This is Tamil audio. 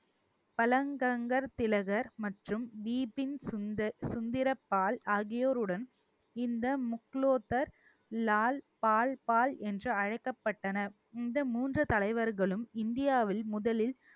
பழங்கங்கர் திலகர் மற்றும் தீபின் சுந்த~ சுந்திரப்பால் ஆகியோருடன் இந்த முக்குலத்தர் லால் பால் பால் என்று அழைக்கப்பட்டன இந்த மூன்று தலைவர்களும் இந்தியாவில் முதலில்